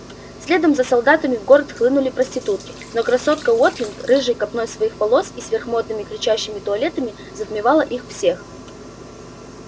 следом за солдатами в город хлынули проститутки но красотка уотлинг рыжей копной своих волос и сверхмодными кричащими туалетами затмевала их всех